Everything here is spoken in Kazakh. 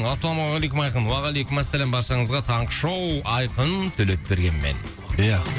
ассалаумағалейкум айқын уағалейкумассалам баршаңызға таңғы шоу айқын төлепбергенмен ия